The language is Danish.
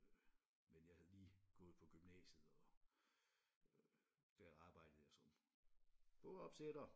Øh men jeg havde lige gået på gymnasiet og øh der arbejdede jeg som bogopsætter